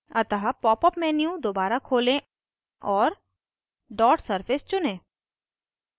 अतः popअप menu दोबारा खोलें और dot surface चुनें